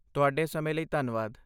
ਤੁਹਾਡੇ ਸਮੇਂ ਲਈ ਧੰਨਵਾਦ।